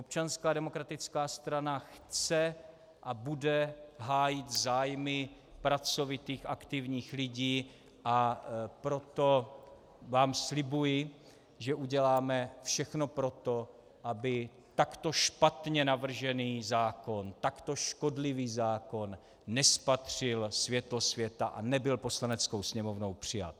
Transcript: Občanská demokratická strana chce a bude hájit zájmy pracovitých aktivních lidí, a proto vám slibuji, že uděláme všechno pro to, aby takto špatně navržený zákon, takto škodlivý zákon nespatřil světlo světa a nebyl Poslaneckou sněmovnou přijat.